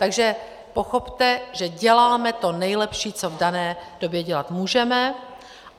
Takže pochopte, že děláme to nejlepší, co v dané době dělat můžeme.